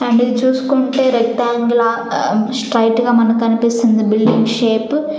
అది చూసుకుంటే rectangular straight గా మనకి కనిపిస్తుంది బిల్డింగ్ షెపు --